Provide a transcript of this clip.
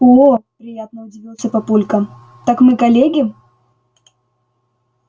оо приятно удивился папулька так мы коллеги